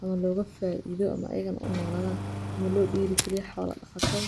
Amma looga faiido ama eegan u noolaan ama loo dhigay xoolo khatag.